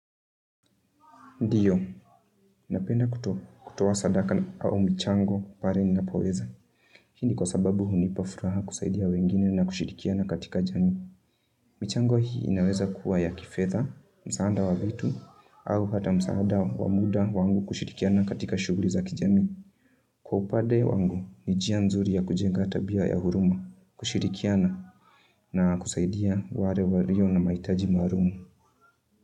Ndiyo, napenda kutowa sadaka au michango pare ninapoweza, hindi kwa sababu hu nipa furaha kusaidia wengine na kushirikiana katika jami. Michango hii inaweza kuwa ya kifedha, msaanda wa vitu, au hata msaada wa muda wangu kushirikiana katika shughuli za kijami. Kwa upade wangu, nijia nzuri ya kujenga tabia ya huruma, kushirikiana na kusaidia ware wario na maitaji marumu.